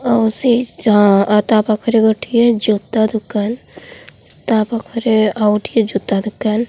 ଆଉ ସେହି ଚାଆ ଆଉ ତା ପାଖରେ ଗୋଟିଏ ଜୋତା ଦୋକାନ ତା ପାଖରେ ଆଉ ଠିଏ ଜୋତା ଦୋକାନ।